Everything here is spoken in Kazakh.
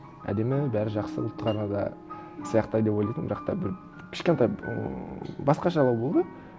әдемі бәрі жақсы ұлт қана да сияқты деп ойлайтынмын бірақ та бір кішкентай ыыы басқашалау болды